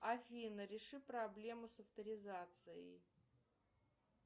афина реши проблему с авторизацией